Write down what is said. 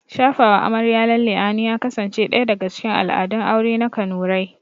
Shafawa amarya lalle a hannu ya kasance ɗaya daga cikin al'adun aure na kanurai